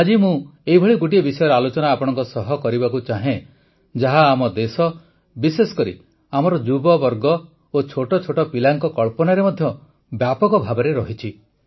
ଆଜି ମୁଁ ଏପରି ଗୋଟିଏ ବିଷୟର ଆଲୋଚନା ଆପଣଙ୍କ ସହ କରିବାକୁ ଚାହେଁ ଯାହା ଆମ ଦେଶ ବିଶେଷ କରି ଆମର ଯୁବବର୍ଗ ଓ ଛୋଟଛୋଟ ପିଲାଙ୍କ କଳ୍ପନାରେ ମଧ୍ୟ ବ୍ୟାପକ ଭାବେ ରହିଛି